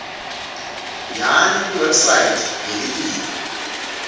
yani kuwebsite yelitiko